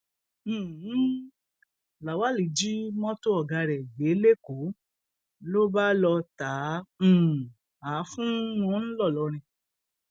um lawal jí mọtò ọgá ẹ gbé lẹkọọ ló bá lọọ ta um á fún wọn ńlọrọrìn